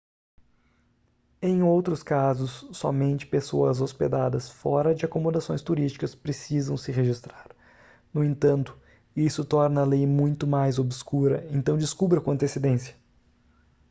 em outros casos somente pessoas hospedadas fora de acomodações turísticas precisam se registrar no entanto isso torna a lei muito mais obscura então descubra com antecedência